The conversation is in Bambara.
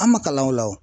An ma kalan o la wo